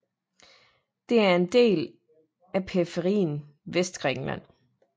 Den er en del af periferien Vestgrækenland